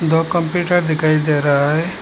दो कंप्यूटर दिखाई दे रहा है।